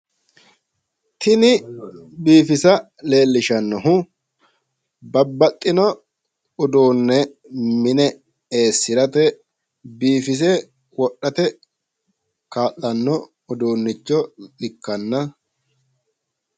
Tini biifisa leellishshannohu. babbaxino uduunne mine eessirate biifise wodhate kaa'lanno uduunnicho ikkanna....